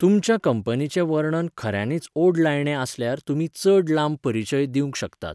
तुमच्या कंपनीचें वर्णन खऱ्यांनीच ओडलायणें आसल्यार तुमी चड लांब परिचय दिंवक शकतात.